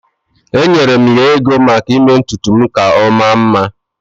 Enyere m ya ego maka ime ntutu m ka ọ maa mma.